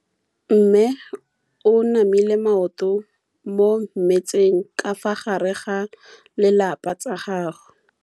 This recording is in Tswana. Mme o namile maoto mo mmetseng ka fa gare ga lelapa le ditsala tsa gagwe.